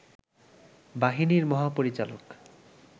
বাহিনীর মহাপরিচালক